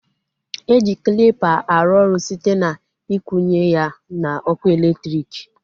E ji klịpa arụ ọrụ site na ikwunye ya n'ọkụ elektriki